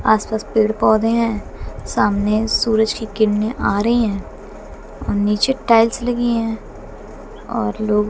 आसपास पेड़ पौधे हैं सामने सूरज की किरणें आ रही हैं और नीचे टाइल्स लगी हैं और लोग--